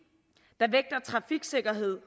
er trafiksikkerheden